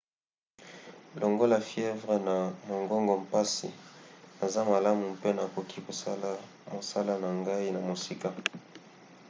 longola fievre na mongongo mpasi naza malamu mpe nakoki kosala mosala na ngai na mosika.